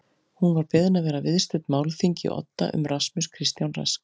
Hún var beðin að vera viðstödd málþing í Odda um Rasmus Kristján Rask